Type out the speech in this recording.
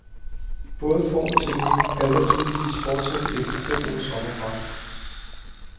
Både form og teknik halter tydeligvis fortsat efter fem ugers sommerpause.